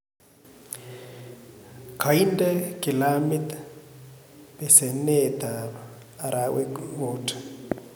kainde gilamit peseneet ap arawek muut